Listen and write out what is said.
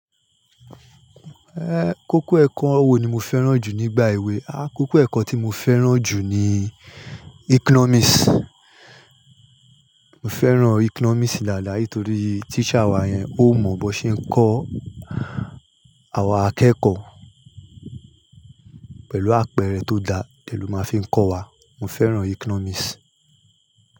En, koko ẹkọ wo ni mo fẹràn jù nígbà èwe? A- kọkọ ẹkọ tí mo fẹràn jù ni Economics. Mo fẹràn Economics dáadáa nítorí teacher wa yẹn, o mọ bó ṣe ń kọ àwa akẹ́kọ̀ọ́ pẹ̀lú àpẹẹrẹ tó dá de ló máa fi ń kọ́ wa. Mo fẹràn Economics.